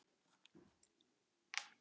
Heppnar stúlkur?